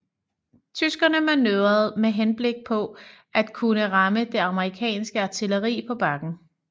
Tyskerne manøvrerede med henblik på at kunne ramme det amerikanske artilleri på bakken